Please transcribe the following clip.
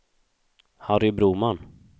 Harry Broman